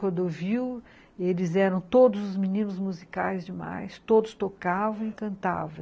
Cordoviu, eles eram todos os meninos musicais demais, todos tocavam e cantavam.